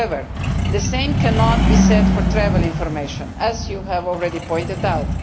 However, the same cannot be said for travel information, as has already been pointed out.